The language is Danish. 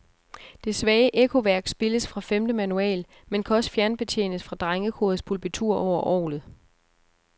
Det svage ekkoværk spilles fra femte manual, men kan også fjernbetjenes fra drengekorets pulpitur over orglet.